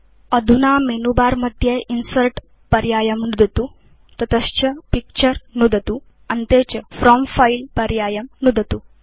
अधुना मेनुबारमध्ये इन्सर्ट् पर्यायं नुदतु ततश्च पिक्चर नुदतु अन्ते च फ्रॉम् फिले पर्यायं नुदतु